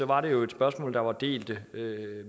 var det jo et spørgsmål der var delte